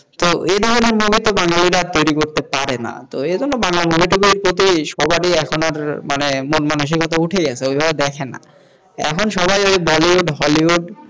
তো এই ধরেনের বাঙালির আর তৈরী করতে পারে না তো এই বাংলা movie র প্রতি সবারই এখন মানে মন-মানসিকতা উঠে গেছে ওইভাবে দেখেনা এখন সবাই ওই বলিউড হলিউড,